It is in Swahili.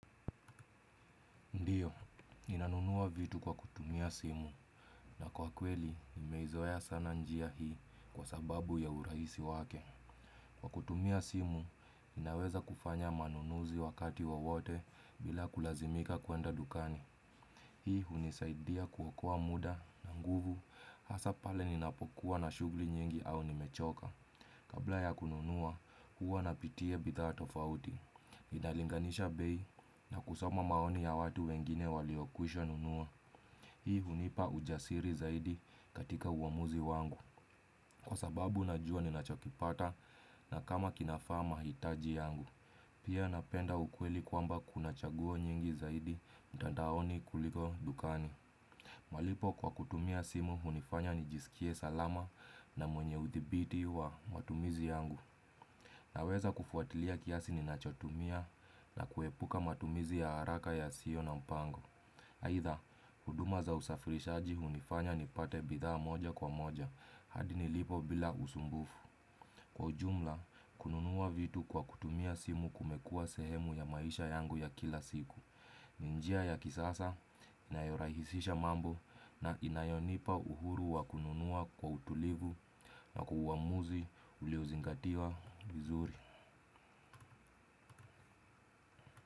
Ndiyo, ninanunuwa vitu kwa kutumia simu na kwa kweli nimeizoya sana njia hii kwa sababu ya urahisi wake. Kwa kutumia simu, ninaweza kufanya manunuzi wakati wowote bila kulazimika kuenda dukani. Hii unisaidia kuwokoa muda na nguvu hasa pale ninapokuwa na shugli nyingi au nimechoka. Kabla ya kununuwa huwa napitia bitha tofauti. Ninalinganisha bei na kusoma maoni ya watu wengine waliokuisha nunua. Hii hunipa ujasiri zaidi katika uamuzi wangu. Kwa sababu najua ninachokipata na kama kinafa mahitaji yangu. Pia napenda ukweli kwamba kuna chaguo nyingi zaidi mtandaoni kuliko dukani. Malipo kwa kutumia simu hunifanya nijisikie salama na mwenye utibiti wa matumizi yangu. Naweza kufuatilia kiasi ninachotumia na kuepuka matumizi ya haraka yasio na mpango. Haitha, huduma za usafirishaaji hunifanya nipate bitha moja kwa moja hadi nilipo bila usumbufu. Kwa ujumla, kununuwa vitu kwa kutumia simu kumekua sehemu ya maisha yangu ya kila siku. Ninjia ya kisasa, inayorahisisha mambo na inayonipa uhuru wa kununuwa kwa utulivu na kuwamuzi uliozingatiwa vizuri.